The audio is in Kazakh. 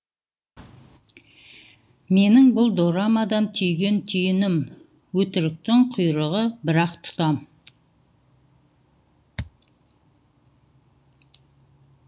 менің бұл дорамадан түйген түйінім өтіріктің құйғыры бір ақ тұтам